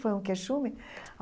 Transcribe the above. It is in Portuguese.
Foi um quechume?